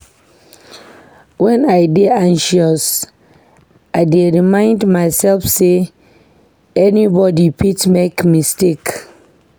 Wen I dey anxious, I dey remind mysef sey anybody fit make mistake.